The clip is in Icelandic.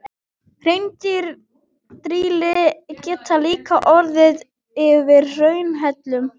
Hraundrýli geta líka orðið til yfir hraunhellum.